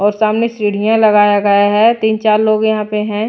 और सामने सीढ़ियां लगाया गया है तीन चार लोग यहां पे हैं।